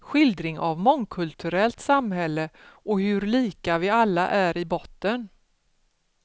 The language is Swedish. Skildring av mångkulturellt samhälle och hur lika vi alla är i botten.